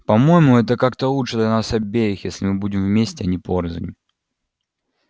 по-моему это как-то лучше для нас обеих если мы будем вместе а не порознь